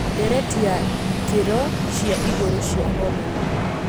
Ndereti ya ikĩro cia ĩgũrũ cia homoni.